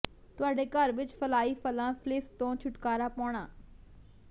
ਤੁਹਾਡੇ ਘਰ ਵਿਚ ਫਲਾਈ ਫਲਾਂ ਫਲਿਸ ਤੋਂ ਛੁਟਕਾਰਾ ਪਾਉਣਾ